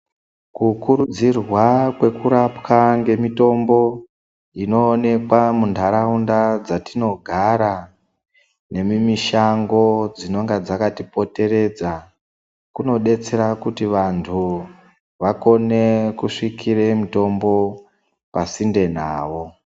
Kukurudzirwa kwekurapwa ngemitombo inoonekwa muntaraunda dzatinogara nemimishango dzinonga dzakatipoteredza kunodetsera kuti vantu vakone kusvikire mitombo pasinde navo.